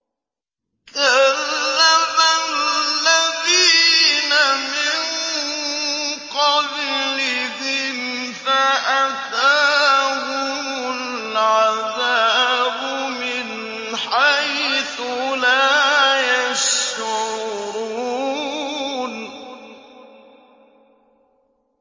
كَذَّبَ الَّذِينَ مِن قَبْلِهِمْ فَأَتَاهُمُ الْعَذَابُ مِنْ حَيْثُ لَا يَشْعُرُونَ